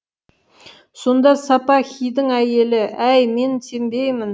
сонда сапаһидің әйелі әй мен сенбеймін